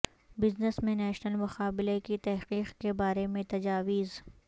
business میں national مقابلہ کی تحقیق کے بارے میں تجاویز